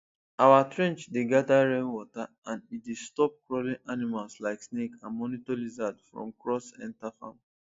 our trench dey gather rainwater and e dey stop crawling animals like snake and monitor lizard from cross enter farm